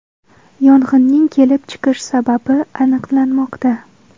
Yong‘inning kelib chiqish sababi aniqlanmoqda.